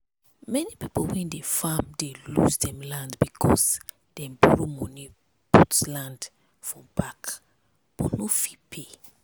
many people wey dey farm dey lose dem land because dem borrow money put land for back but no fit pay.